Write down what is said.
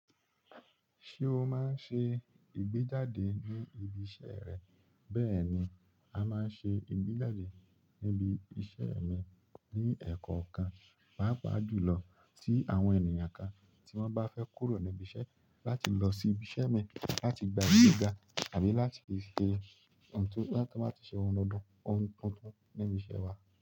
Ṣé o máa ń ṣe ìgbéjáde ní ibi iṣẹ́ rẹ? Bẹ́ẹ̀ ni, a máa ń ṣe ìgbéjáde níbi iṣẹ́ mi ní ẹ̀kọ́ kan, pàápàá jùlọ tí àwọn ènìyàn kan tí wọ́n bá fẹ́ kúrò níbi iṣẹ́ láti lọ sí ibi iṣẹ́ mi láti gba ìgbéga àbí láti ṣe ti o ba tun wa ti se oun tuntun oun tuntun ni ibise wa.